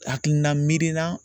Hakilina miiri na